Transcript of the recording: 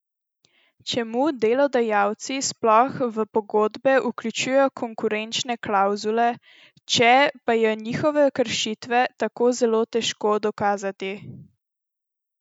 Čemu delodajalci sploh v pogodbe vključujejo konkurenčne klavzule, če pa je njihove kršitve tako zelo težko dokazati?